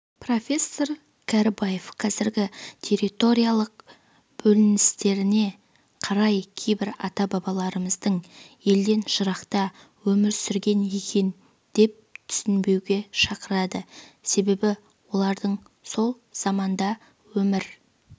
профессор кәрібаев қазіргі территориялық бөліністеріне қарап кейбір ата-бабаларымыздың елден жырақта өмір сүрген екен деп түсінбеуге шақырады себебі олардың сол заманда өмір